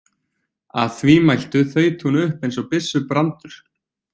Að því mæltu þaut hún upp eins og byssubrandur.